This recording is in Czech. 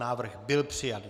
Návrh byl přijat.